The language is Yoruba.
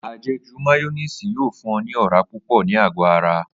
Àje̩jù máyó̩néèsì yóò fún o̩ ní ò̩rá púpò̩ ni ago ara